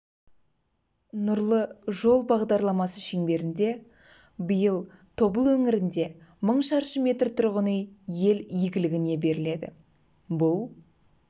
нұрлы жол бағдарламасы шеңберінде биыл тобыл өңірінде мың шаршы метр тұрғын үй ел игілігіне беріледі бұл